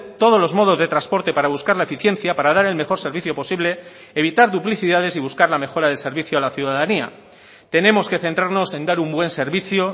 todos los modos de transporte para buscar la eficiencia para dar el mejor servicio posible evitar duplicidades y buscar la mejora del servicio a la ciudadanía tenemos que centrarnos en dar un buen servicio